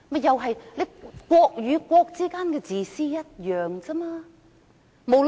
可是，國與國之間的自私是一樣的。